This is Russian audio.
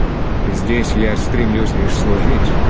здесь я стремлюсь лишь служить